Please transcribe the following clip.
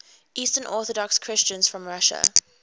eastern orthodox christians from russia